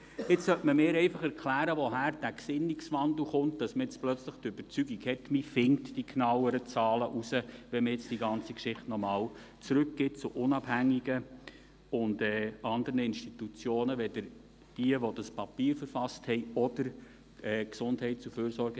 Jetzt sollte man mir einfach erklären, woher dieser Gesinnungswandel kommt, dass man jetzt plötzlich der Überzeugung ist, man finde die genaueren Zahlen heraus, wenn man die ganze Geschichte jetzt noch einmal an unabhängige und andere Institutionen zurückgibt, zusätzlich zu denjenigen die dieses Papier verfasst haben oder an die GEF.